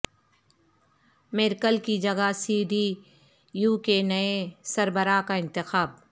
Merkel کی جگہ C D U کے نئے سربراہ کا انتخاب